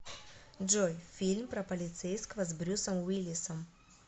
джой фильм про полицейского с брюсом уиллисом